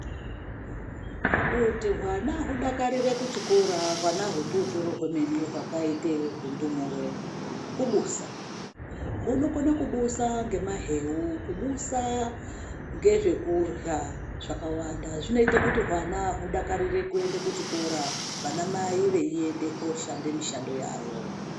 Kuti hwana hudakarire kuchikora ,hwana hututuri hwemene hwakaite hundumure, kubusa. Hunokone kubusa ngemaheu. Kubusa ngezvekurya zvakawanda, zvinoite kuti hwana hudakarire kuende kuchikora, vanamai veiende kooshande mishando yavo.